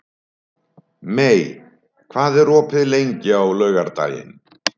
Mey, hvað er opið lengi á laugardaginn?